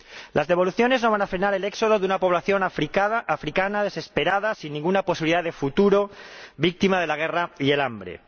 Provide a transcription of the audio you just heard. Las devoluciones no van a frenar el éxodo de una población africana desesperada, sin ninguna posibilidad de futuro, víctima de la guerra y el hambre.